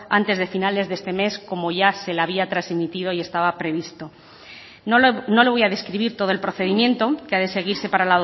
antes de finales de este mes como ya se le había transmitido y estaba previsto no le voy a describir todo el procedimiento que ha de seguirse para